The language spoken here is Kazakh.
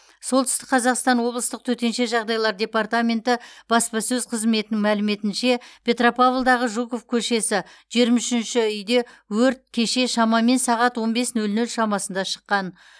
солтүстік қазақстан облыстық төтенше жағдайлар департаменті баспасөз қызметінің мәліметінше петропавлдағы жуков көшесі жиырма үшінші үйде өрт кеше шамамен сағат он бес нөл нөл шамасында шыққан